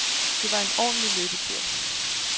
Det var en ordentlig løbetur.